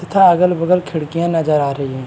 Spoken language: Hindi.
अगल बगल खिड़कियां नजर आ रही हैं।